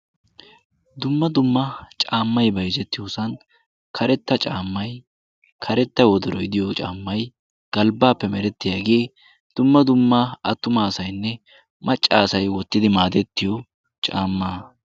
dumma dumma caammai baizettiyoosan karetta caammai karetta wodoroidiyo caammai galbbaappe merettiyaagee dumma dumma attumaasainne maccaasai wottidi maadettiyo caamma